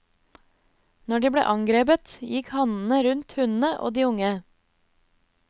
Når de ble angrepet gikk hannene rundt hunnene og de unge.